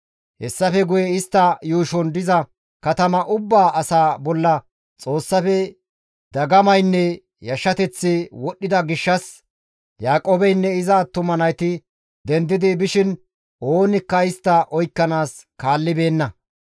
Hessafe guye istta yuushon diza katama ubba asaa bolla Xoossafe dagamaynne yashshateththi wodhdhida gishshas Yaaqoobeynne iza attuma nayti dendidi bishin oonikka istta oykkanaas kaallibeenna.